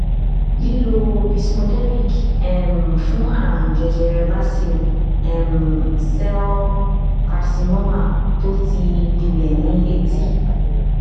lílo vismodegib um fún àrùn jẹjẹrẹ basil um cell carcinoma tó ti gbilẹ ní etí